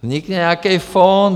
Vznikne nějaký fond.